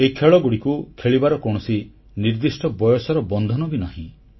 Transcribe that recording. ଏହି ଖେଳଗୁଡ଼ିକୁ ଖେଳିବାର କୌଣସି ନିର୍ଦ୍ଦିଷ୍ଟ ବୟସର ବନ୍ଧନ ବି ନାହିଁ